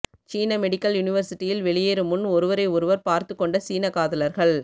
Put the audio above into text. சீன மெடிக்கல் யூனிவர்சிட்டியில் வெளியேறும் முன் ஒருவரை ஒருவர் பார்த்துக்கொண்ட சீன காதலர்கள்